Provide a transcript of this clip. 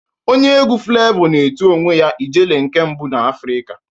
Onye egwu Flevọ na-etu onwe ya "Ijele nke mbụ n' Afrika